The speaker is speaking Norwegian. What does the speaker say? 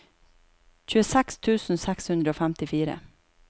tjueseks tusen seks hundre og femtifire